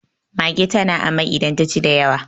mage tana amai idan ta ci da yawa